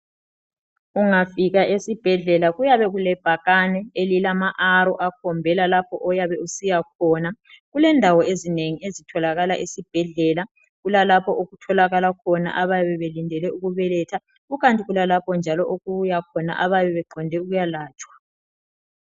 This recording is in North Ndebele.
Ungafika esibhedlela kuyabe kulebhakane elilama arrow akhombela lapho oyabe usiya khona kulendawo ezinengi ezitholakala esibhedlela. Kulalapho okutholakala khona abayabe belindele ukubeletha kukanti njalo kulalapho okuya abayabe belande ukuyalatshwa.